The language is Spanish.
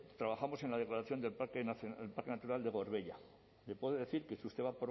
trabajamos en la declaración de parque natural de gorbeia le puedo decir que si usted va